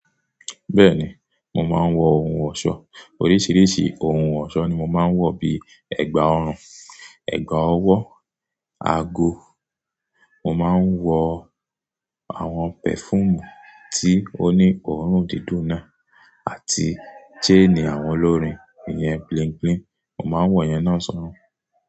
Bẹ́ẹ̀ni, mo máa ń wọ ohun ọ̀ṣọ́, oríṣiríṣi ohun ọ̀ṣọ́ ni mo máa ń wọ̀ bíi ẹ̀gbà ọrùn, ẹ̀gbà ọwọ́, ago, mo máa ń wọ àwọn pẹ̀fuumù tí ó ní òórùn dídùn náà àti jáànì àwọn olórin iyẹn bling bling mo máa ń wọ̀ yẹn náà sọ́rọ̀.